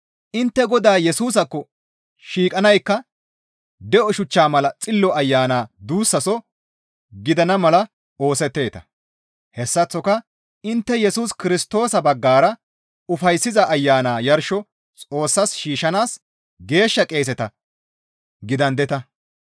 Intte Godaa Yesusaakko shiiqanaykka de7o shuchchaa mala Xillo Ayana duussaso gidana mala oosetteeta; hessaththoka intte Yesus Kirstoosa baggara ufayssiza Ayana yarsho Xoossas shiishshanaas geeshsha qeeseta gidandeta.